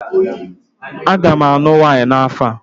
Aga m alụ nwanyị n'afọ a.